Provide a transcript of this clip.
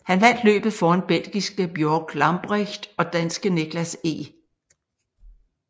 Han vandt løbet foran belgiske Bjorg Lambrecht og danske Niklas Eg